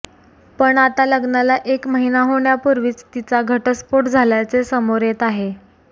पण आता लग्नाला एक महिना होण्यापूर्वीच तिचा घटस्फोट झाल्याचे समोर येत आहे